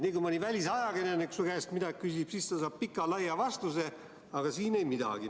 Nii kui mõni välisajakirjanik su käest midagi küsib, siis ta saab pika-laia vastuse, aga siin ei midagi.